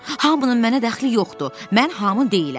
Hamının mənə dəxli yoxdur, mən hamın deyiləm.